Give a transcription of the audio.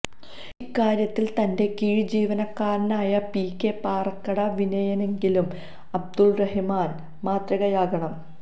ഇക്കാര്യത്തില് തന്റെ കീഴ് ജീവനക്കാരനായ പി കെ പാറക്കടവിനെയെങ്കിലും അബ്ദുറഹിമാന് മാതൃകയാക്കണം